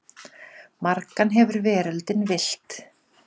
Margan hefur veröldin villt.